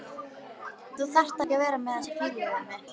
Þú þarft ekki að vera með þessa fýlu við mig.